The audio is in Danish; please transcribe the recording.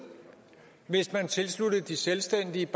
hvis man tilsluttede de selvstændige